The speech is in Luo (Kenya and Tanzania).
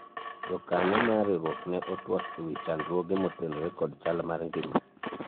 jokanyo mar riwruok ne otwak ewi chandruoge motenore kod chal mar ngima